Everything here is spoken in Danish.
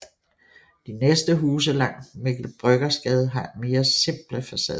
De næste huse langs Mikkel Bryggers Gade har mere simple facader